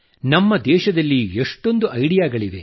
ನಮ್ಮ ದೇಶದಲ್ಲಿ ಎಷ್ಟೊಂದು ಐಡಿಯಾಗಳಿವೆ